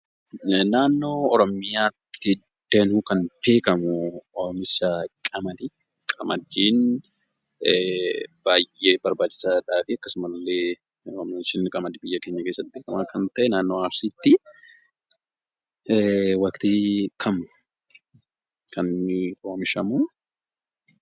Naannoo Oromiyaatti danuu kan beekamu oomisha qamadiidha. qamadiin baay'ee barbaachisaa fi akkasumalle Oomishni qamadii biyya keenya keessatti kan ta'e naannoo Arsiiti. Waqxii kami kaninni oomishamu?